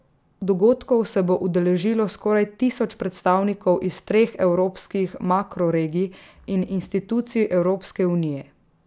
Dogodkov se bo udeležilo skoraj tisoč predstavnikov iz treh evropskih makro regij in institucij Evropske unije.